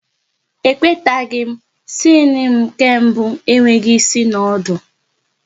E kwetaghi m, siene nke mbụ enweghị ịsị na ọdụ